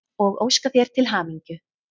og óska þér til hamingju.